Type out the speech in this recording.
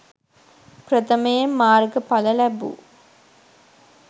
ප්‍රථමයෙන් මාර්ග ඵල ලැබූ